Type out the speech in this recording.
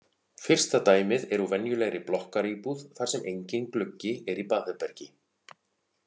Fyrsta dæmið er úr venjulegri blokkaríbúð þar sem enginn gluggi er í baðherbergi.